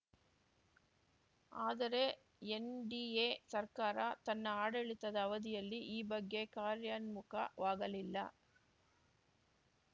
ಆದರೆ ಎನ್‌ಡಿಎ ಸರ್ಕಾರ ತನ್ನ ಆಡಳಿತದ ಅವಧಿಯಲ್ಲಿ ಈ ಬಗ್ಗೆ ಕಾರ್ಯನ್ಮುಖ ವಾಗಲಿಲ್ಲ